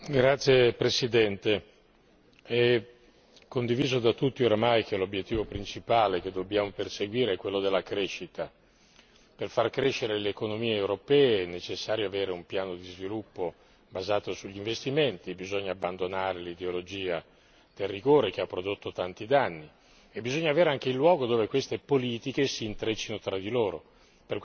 Signor Presidente, onorevoli colleghi, è condiviso da tutti oramai che l'obiettivo principale che dobbiamo perseguire è quello della crescita. Per far crescere le economie europee è necessario avere un piano di sviluppo basato sugli investimenti, bisogna abbandonare l'ideologia del rigore che ha prodotto tanti danni e bisogna avere anche il luogo dove queste politiche si intreccino tra di loro.